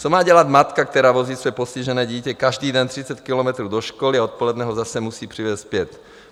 Co má dělat matka, která vozí své postižené dítě každý den 30 kilometrů do školy a odpoledne ho zase musí přivést zpět?